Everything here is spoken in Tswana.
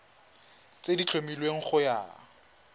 tse di tlhomilweng go ya